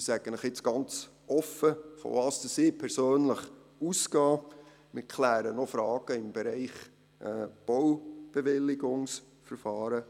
Ich sage Ihnen nun ganz offen, wovon ich persönlich ausgehe, und ich kläre noch Fragen im Bereich der Baubewilligungsverfahren.